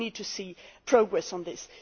We need to see progress on this.